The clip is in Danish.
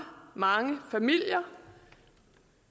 mange familier